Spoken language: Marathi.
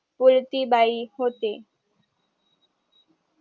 पुलती बाई होते